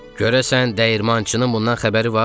Görəsən dəyirmançının bundan xəbəri var?